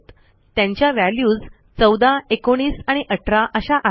त्यांच्या व्हॅल्यूज चौदा एकोणीस आणि अठरा अशा आहेत